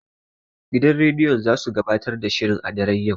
Gidan rediyon zasu gabatar da shirin a daren yau.